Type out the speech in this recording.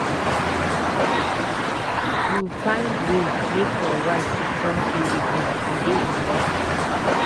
You find wey make your wife to trust you again, e dey important.